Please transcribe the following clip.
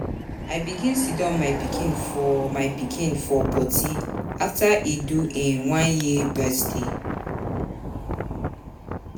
I begin siddon my pikin for my pikin for potty after e do im one year birthday.